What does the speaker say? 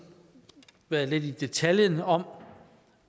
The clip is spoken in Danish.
været nede i detaljen om